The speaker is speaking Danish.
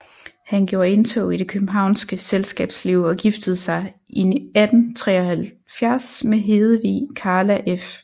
Han gjorde indtog i det københavnske selskabsliv og giftede sig i 1873 med Hedevig Carla f